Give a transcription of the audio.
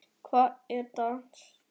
Baddi, hver er dagsetningin í dag?